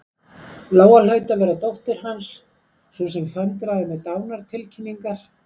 Lóa hlaut að vera dóttir Hans, sú sem föndraði með dánartilkynningar.